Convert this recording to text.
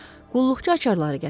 Qulluqçu açarları gətirdi.